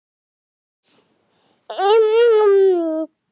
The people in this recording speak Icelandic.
Það er mjög mikið.